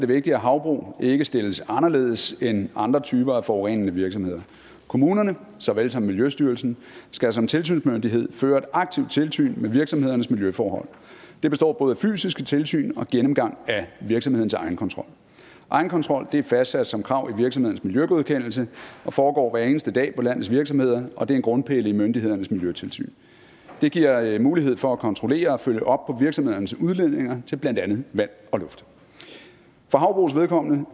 vigtigt at havbrug ikke stilles anderledes end andre typer af forurenende virksomheder kommunerne såvel som miljøstyrelsen skal som tilsynsmyndighed føre et aktivt tilsyn med virksomhedernes miljøforhold det består både af fysiske tilsyn og gennemgang af virksomhedens egenkontrol egenkontrol er fastsat som krav i virksomhedens miljøgodkendelse og foregår hver eneste dag på landets virksomheder og det er en grundpille i myndighedernes miljøtilsyn det giver mulighed for at kontrollere og følge op på virksomhedernes udledninger til blandt andet vand og luft for havbrugs vedkommende